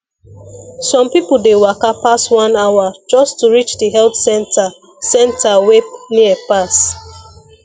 some people dey waka pass one hour just to reach the health center center wey near pass